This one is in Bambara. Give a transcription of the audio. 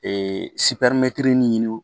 Ee ɲini